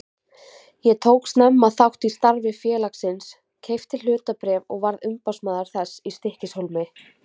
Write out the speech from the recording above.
Ég tók snemma þátt í starfi félagsins, keypti hlutabréf og varð umboðsmaður þess í Stykkishólmi.